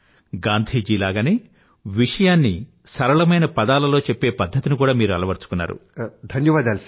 ఇంతేకాక గాంధీగారిలాగనే విషయాన్ని సరళమైన పదాలతో చెప్పే పధ్ధతిని కూడా మీరు అలవరుచుకున్నారు